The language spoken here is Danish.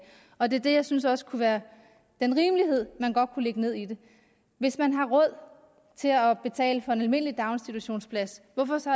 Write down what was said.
og det er det jeg synes også kunne være den rimelighed man godt kunne lægge ned i det hvis man har råd til at betale for en almindelig daginstitutionsplads hvorfor så